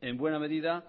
en buena medida